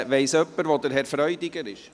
Weiss jemand, wo Herr Freudiger ist?